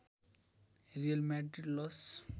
real Madrid loss